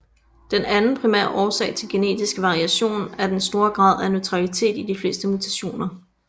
Den anden primære årsag til genetisk variation er den store grad af neutralitet i de fleste mutationer